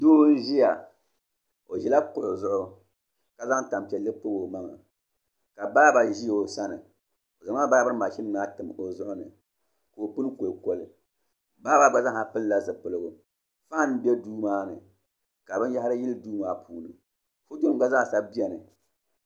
Doo n ʒiya o ʒila kuɣu zuɣu ka zaŋ tanpiɛlli pobi o maŋa ka baaba ʒi o sani o zaŋla baabirin mashin maa tim o zuɣu ni ka i pini koli koli baaba maa gba pilila zipiligu fan bɛ duu maa ni ka binyahari yili Duu maa puuni foto gba zaasa biɛni